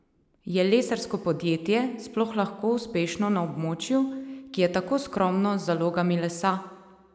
Je lesarsko podjetje sploh lahko uspešno na območju, ki je tako skromno z zalogami lesa?